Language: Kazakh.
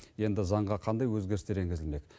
енді заңға қандай өзгерістер енгізілмек